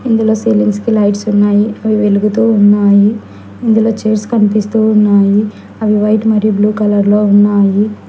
ఇందులో సీలింగ్స్ కి లైట్స్ ఉన్నాయి అవి వెలుగుతూ ఉన్నాయి ఇందులో చేర్స్ కనిపిస్తూ ఉన్నాయి అవి వైట్ మరియు బ్లూ కలర్ లో ఉన్నాయి.